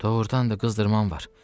Doğrudan da qızdırman var.